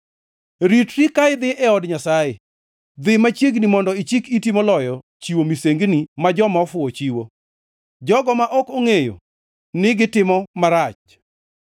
Ritri ka idhi e od Nyasaye. Dhi machiegni mondo ichik iti moloyo chiwo misengini ma joma ofuwo chiwo, jogo ma ok ongʼeyo ni gitimo marach.